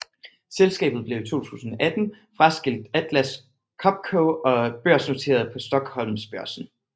Selskabet blev i 2018 fraskilt Atlas Copco og børsnoteret på Stockholmsbörsen